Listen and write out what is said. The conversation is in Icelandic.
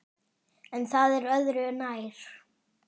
En það er öðru nær.